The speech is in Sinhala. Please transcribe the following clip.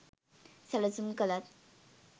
සැලසුම් කලත්